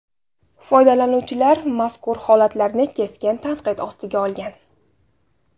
Foydalanuvchilar mazkur holatlarni keskin tanqid ostiga olgan.